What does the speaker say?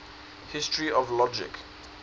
history of logic